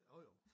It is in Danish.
Jo jo